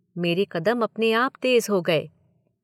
मेरे कदम अपने आप तेज हो गए।